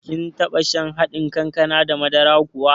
Kin taɓa shan haɗin kankana da madara kuwa?